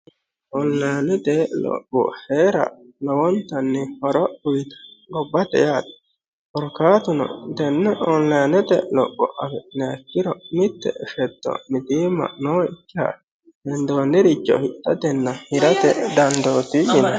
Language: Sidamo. onilayiinete lopho heera lowonttanni horo uyiitanno gobbate yaate korkaatuno tenne onlayiinete lopho afi'niya ikkiro mitte shetto mitiimma nookiha hendooniricho hidhatenna hirate dandootii yinanni